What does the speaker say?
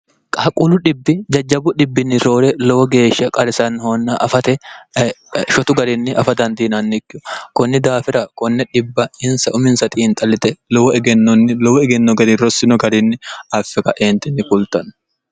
qaaqquulu dhibbi jajjabu hibbinni roore lowo geeshsha qarisannihoonna fshotu garinni afa dandiinannikki kunni daafira 0ins umis i xallite wegenoni lowo egenno gari rossino garinni affiqa eentinni kultanno